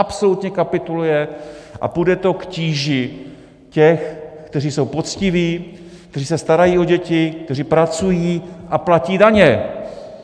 Absolutně kapituluje a půjde to k tíži těch, kteří jsou poctiví, kteří se starají o děti, kteří pracují a platí daně.